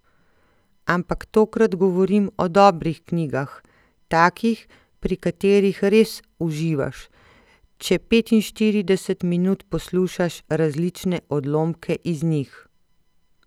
Ampak tokrat govorim o dobrih knjigah, takih, pri katerih res uživaš, če petinštirideset minut poslušaš različne odlomke iz njih.